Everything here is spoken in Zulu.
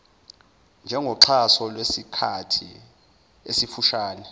njengoxhaso lwesikhathi esifushane